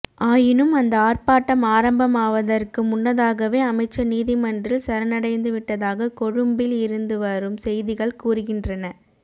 ஆயினும் அந்த ஆர்ப்பாட்டம் ஆரம்பமாவதற்கு முன்னதாகவே அமைச்சர் நீதிமன்றில் சரணடைந்துவிட்டதாக கொழும்பில் இருந்துவரும் செய்திகள் கூறுகின்றன